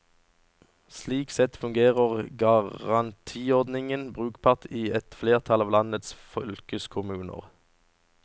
Slik sett fungerer garantiordningen brukbart i et flertall av landets fylkeskommuner.